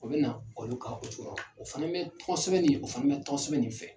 O bɛ na olu ka o fana bɛ tɔn sɛbɛn ni o fana bɛ tɔn sɛbɛn nin fɛ.